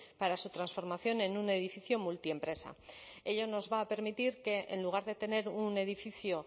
para su transformación en un edificio multiempresa ello nos va a permitir que en lugar de tener un edificio